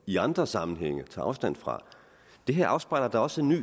i andre sammenhænge tager afstand fra det her afspejler da også en ny